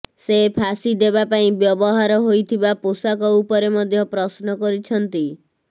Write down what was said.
ସେ ଫାଶୀ ଦେବା ପାଇଁ ବ୍ୟବହାର ହୋଇଥିବା ପୋଷାକ ଉପରେ ମଧ୍ୟ ପ୍ରଶ୍ନ କରିଛନ୍ତି